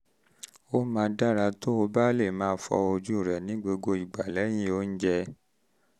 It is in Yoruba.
ó máa dára um tó o bá lè máa fọ ojú rẹ ní gbogbo ìgbà lẹ́yìn oúnjẹ